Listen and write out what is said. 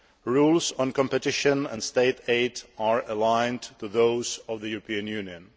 Rules on competition and State aid are aligned to those of the European Union.